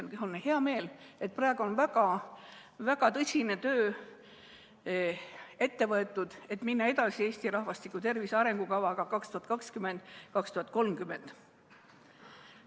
Mul on hea meel, et praegu on väga tõsine töö ette võetud, et minna edasi Eesti rahvastiku tervise arengukavaga aastateks 2020–2030.